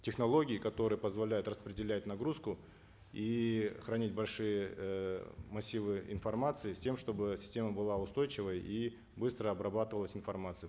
технологии которые позволяют распределять нагрузку и хранить большие э массивы информации с тем чтобы система была устойчивой и быстро обрабатывалась информация